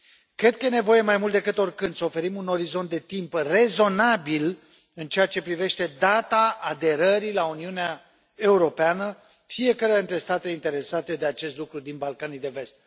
Cred că este nevoie mai mult decât oricând să oferim un orizont de timp rezonabil în ceea ce privește data aderării la Uniunea Europeană fiecăruia dintre statele interesate de acest lucru din Balcanii de Vest.